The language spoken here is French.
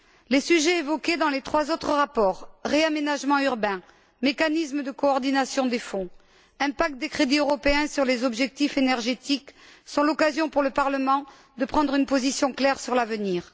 Les sujets évoqués dans les trois autres rapports réaménagement urbain, mécanisme de coordination des Fonds, impact des crédits européens sur les objectifs énergétiques sont l'occasion pour le Parlement de prendre une position claire sur l'avenir.